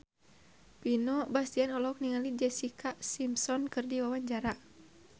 Vino Bastian olohok ningali Jessica Simpson keur diwawancara